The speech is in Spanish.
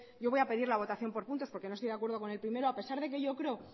yo voy a pedir la votación por puntos porque no estoy de acuerdo con el primero a pesar de que yo creo